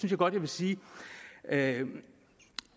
jeg godt sige at